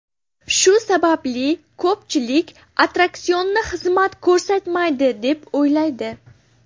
Shu sababli ko‘pchilik attraksionni xizmat ko‘rsatmaydi, deb o‘ylaydi.